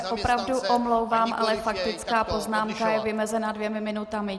Já se opravdu omlouvám, ale faktická poznámka je vymezena dvěma minutami.